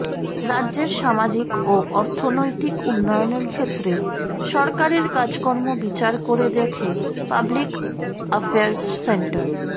রাজ্যের সামাজিক ও অর্থনৈতিক উন্নয়নের ক্ষেত্রে সরকারের কাজকর্ম বিচার করে দেখে পাবলিক অ্যাফেয়ার্স সেন্টার